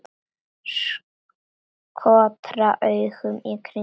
Skotra augunum í kringum mig.